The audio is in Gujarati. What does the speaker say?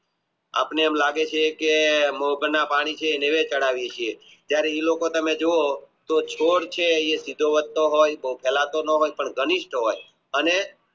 આપણે એમ લાગે છે કે જયારે એ લોકો તમે જુઓ તો છોડ છે